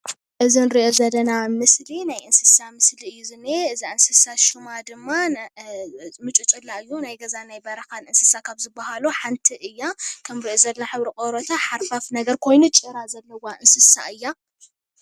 እዚ እንርኦ ዘለና ምስሊ ናይ እንስሳ ምስሊ እዩ ዝኒኣ። እዛ እንስሳ ሽማ ድማ ምጭጭላ እዩ ።ናይ ገዛን ናይ በረካ እንስሳ ካብ ዝበሃሉ ሓንቲ እያ። ከም እንሪኦ ዘለና ሕብሪ ቆርባታ ሓርፋፍ ኮይና ጭራ ዘለዋ እንስሳ እያ።